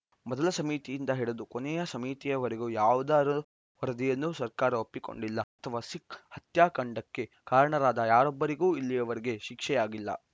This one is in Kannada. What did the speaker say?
ಮೊದಲ ಸಮಿತಿಯಿಂದ ಹಿಡಿದು ಕೊನೆಯ ಸಮಿತಿಯವರೆಗೆ ಯಾವುದರ ವರದಿಯನ್ನೂ ಸರ್ಕಾರ ಒಪ್ಪಿಕೊಂಡಿಲ್ಲ ಅಥವಾ ಸಿಖ್‌ ಹತ್ಯಾಕಾಂಡಕ್ಕೆ ಕಾರಣರಾದ ಯಾರೊಬ್ಬರಿಗೂ ಇಲ್ಲಿಯವರೆಗೆ ಶಿಕ್ಷೆಯಾಗಿಲ್ಲ